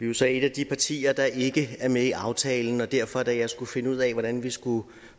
jo så et af de partier der ikke er med i aftalen og derfor da jeg skulle finde ud af hvordan vi skulle